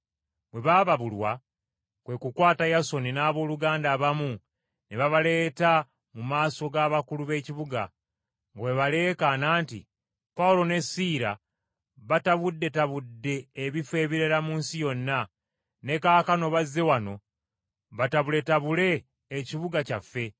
Bwe baababulwa, kwe kukwata Yasooni n’abooluganda abamu ne babaleeta mu maaso g’abakulu b’ekibuga, nga bwe baleekaana nti, “Pawulo ne Siira batabuddetabudde ebifo ebirala mu nsi yonna, ne kaakano bazze wano batabuletabule ekibuga kyaffe,